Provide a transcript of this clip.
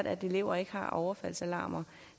at elever ikke har overfaldsalarmer